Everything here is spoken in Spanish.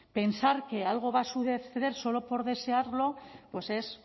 pensar que algo va a suceder solo por desearlo pues es